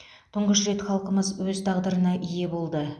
тұңғыш рет халқымыз өз тағдырына ие болды